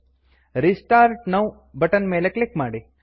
restart now restart now button ನ ಮೇಲೆ click ಮಾಡಿ